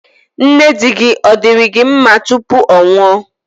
Nne di-gi, ọ̀ diri gi nma tupu ọ nwụọ?